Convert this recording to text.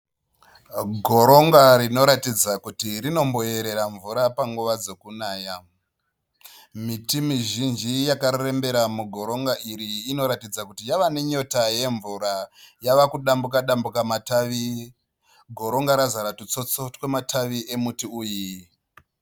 Goronga rinoratidza kuti rinomboerera mvura panguva dzekunaya miti mizhinji yakarembera mugoronga iri inoratidza kuti yawa nenyota yemvura yava kudambuka dambuka matawi goronga razara ndtutsotso twematawi emiti iyi